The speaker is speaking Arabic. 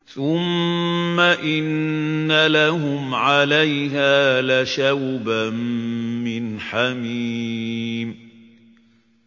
ثُمَّ إِنَّ لَهُمْ عَلَيْهَا لَشَوْبًا مِّنْ حَمِيمٍ